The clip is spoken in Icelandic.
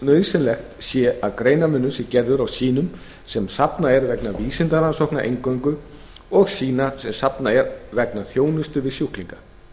nauðsynlegt sé að greinarmunur sé gerður á sýnum sem safnað er vegna vísindarannsókna eingöngu og sýna sem safnað er vegna þjónustu við sjúklinga